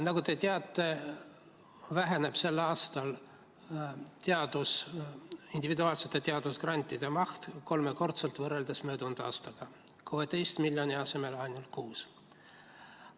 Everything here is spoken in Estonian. Nagu te teate, väheneb sel aastal individuaalsete teadusgrantide maht kolmekordselt võrreldes möödunud aastaga, 16 miljoni euro asemel eraldatakse ainult 6 miljonit.